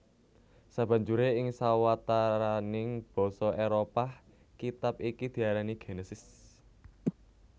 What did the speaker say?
Sabanjure ing sawataraning basa Éropah kitab iki diarani Genesis